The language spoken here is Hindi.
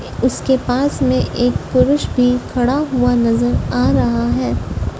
उसके पास में एक पुरुष भी खड़ा हुआ नजर आ रहा है।